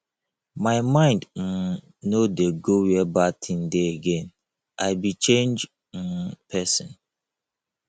my mind um no dey go where bad thing dey again i be changed um person